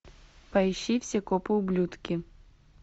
поищи все копы ублюдки